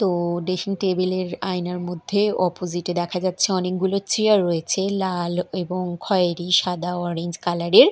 তো dressing table -এর আয়নার মধ্যে অপজিট -এ দেখা যাচ্ছে অনেকগুলো চেয়ার রয়েছে লাল এবং খয়েরী সাদা অরেঞ্জ কালার -এর।